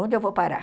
Onde eu vou parar?